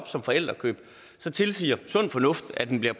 som forældrekøb tilsiger sund fornuft at den bliver